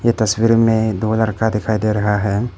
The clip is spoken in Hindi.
तस्वीर में दो लड़का दिखाई दे रहा है।